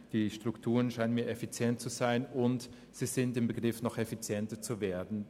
Die Strukturen scheinen mir effizient zu sein, und sie sind im Begriff, noch effizienter zu werden.